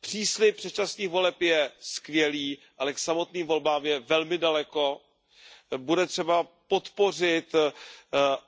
Příslib předčasných voleb je skvělý, ale k samotným volbám je velmi daleko, bude třeba podpořit